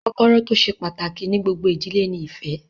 Kọ́kọ́rọ́ tó ṣe pàtàkì ní gbogbo ìdílé ni ìfẹ́